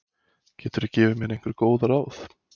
Geturðu gefið mér einhver góð ráð?